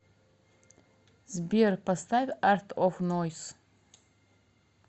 сбер поставь арт оф нойс